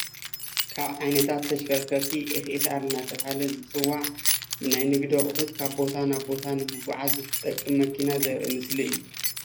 ካብ ዓይነታት ተሽከርከርቲ ኤፍኤስኣር እናተብሃለ ዝፅዋዕ ናይ ነግዲ ኣቁሑት ካብ ቦታ ናብ ቦታ ንምንቅስቃስ ዝጠቅም እዩ።